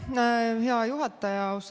Aitäh, hea juhataja!